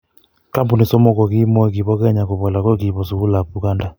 Kampuni somok ko kimoi kibo Kenya kobo lagok kibo sugulab Uganda.